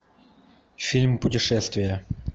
фильм путешествия